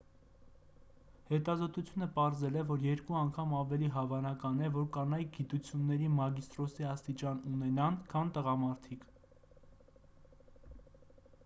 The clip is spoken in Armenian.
հետազոտությունը պարզել է որ երկու անգամ ավելի հավանական է որ կանայք գիտությունների մագիստրոսի աստիճան ունենան քան տղամարդիկ